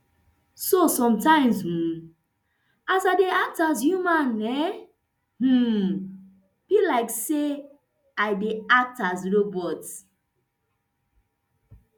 so sometimes um as i dey act as human e um be like say i dey act as robot